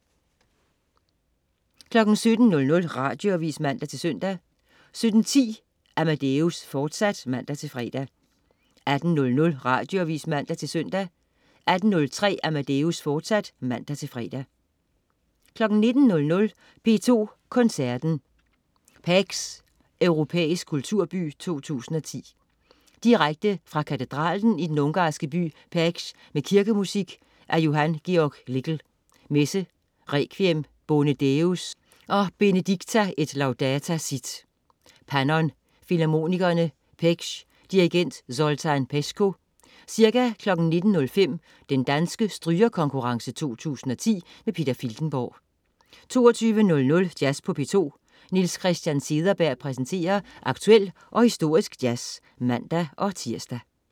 17.00 Radioavis (man-søn) 17.10 Amadeus, fortsat (man-fre) 18.00 Radioavis (man-søn) 18.03 Amadeus, fortsat (man-fre) 19.00 P2 Koncerten. Pécs, europæisk kulturby 2010. Direkte fra katedralen i den ungarske by Pécs med kirkemusik af Johann Georg Lickl: Messe, Requiem, Bone Deus og Benedicta et laudata sit. Pannon Filharmonikerne, Pécs. Dirigent: Zoltán Peskó. Ca. 19.05 Den Danske Strygerkonkurrence 2010. Peter Filtenborg 22.00 Jazz på P2. Niels Christian Cederberg præsenterer aktuel og historisk jazz (man-tirs)